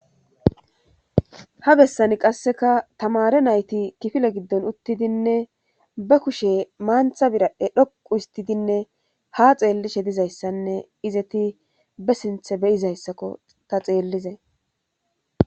Ha bessani qasseka tamare nayti kifile giddon uttidinne ba kushe maantha birae dhoqu histidinne ha xeellishe dizayssanne izeti be sinthe beyizayssakko ta xeellize.